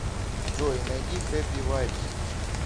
джой найди хэппи вайбс